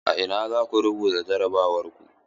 A ina zaku rubuta jarabawar ku?